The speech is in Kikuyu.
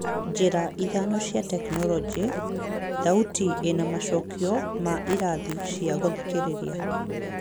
Njĩra ithano cia tekinoronjĩ: Thauti ĩna macokio ma ĩrathi cia gũthikĩrĩria